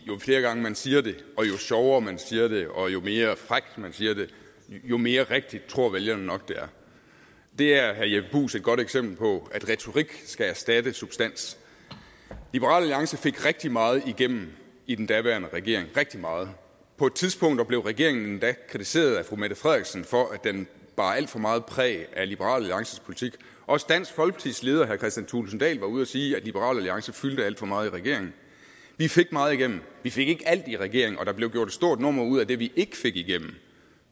jo flere gange man siger det jo sjovere man siger det og jo mere frækt man siger det jo mere rigtigt tror vælgerne nok det er det er herre jeppe bruus et godt eksempel på at retorik skal erstatte substans liberal alliance fik rigtig meget igennem i den daværende regering rigtig meget på et tidspunkt blev regeringen endda kritiseret af fru mette frederiksen for at den bar alt for meget præg af liberal alliances politik også dansk folkepartis leder herre kristian thulesen dahl var ude at sige at liberal alliance fyldte alt for meget i regeringen vi fik meget igennem vi fik ikke alt igennem i regeringen og der blev gjort et stort nummer ud af det vi ikke fik igennem